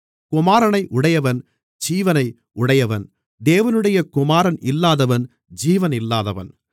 குமாரனை உடையவன் ஜீவனை உடையவன் தேவனுடைய குமாரன் இல்லாதவன் ஜீவன் இல்லாதவன்